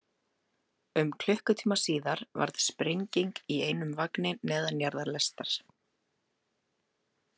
Um klukkutíma síðar varð sprenging í einum vagni neðanjarðarlestar.